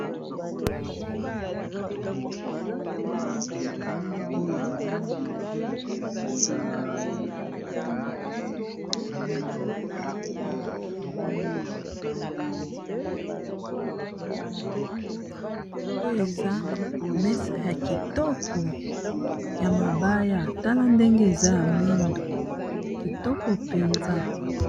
Oyo eza mesa ya kitoko ya mabaya, tala ndenge eza ya mwindo kitoko mpenza.